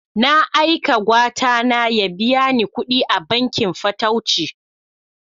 Na aika Gwatana ya biya ni kuɗi a bankin fatauci.